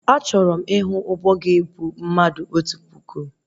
Achọrọ m ịhụ ụgbọ ga-ebu mmadụ otu puku